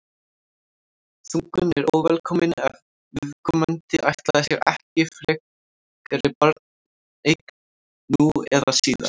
þungun er óvelkomin ef viðkomandi ætlaði sér ekki frekari barneign nú eða síðar